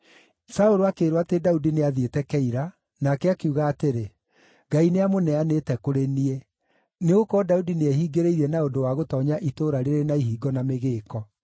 Saũlũ akĩĩrwo atĩ Daudi nĩathiĩte Keila, nake akiuga atĩrĩ, “Ngai nĩamũneanĩte kũrĩ niĩ, nĩgũkorwo Daudi nĩehingĩrĩirie na ũndũ wa gũtoonya itũũra rĩrĩ na ihingo na mĩgĩĩko.”